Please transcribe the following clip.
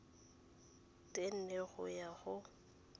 tse nne go ya go